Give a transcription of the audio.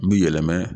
Bi yɛlɛma